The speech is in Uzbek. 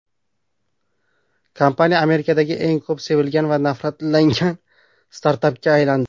Kompaniya Amerikadagi eng ko‘p sevilgan va nafratlangan startapga aylandi.